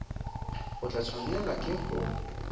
o tla tshwanelwa ke go